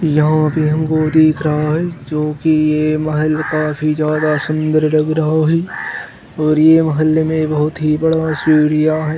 यहाँ पे हमको देख रहा है जो की ये महल काफी ज्यादा सुंदर लग रहा है और ये महल में बहुत ही बड़ा सीढ़ियां है।